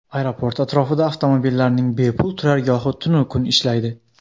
Aeroport atrofida avtomobillarning bepul turargohi tunu kun ishlaydi.